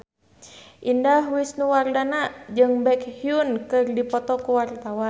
Indah Wisnuwardana jeung Baekhyun keur dipoto ku wartawan